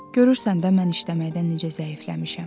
Görürsən də mən işləməkdən necə zəifləmişəm.